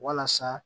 Walasa